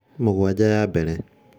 mũgwanja ya mbere